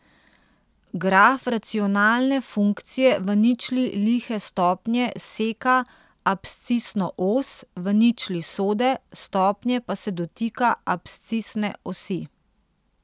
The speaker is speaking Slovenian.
Graf racionalne funkcije v ničli lihe stopnje seka abscisno os, v ničli sode stopnje pa se dotika abscisne osi.